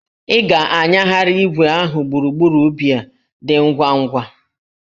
Ị ga-anyagharị igwe ahụ gburugburu ubi a, dị ngwa ngwa!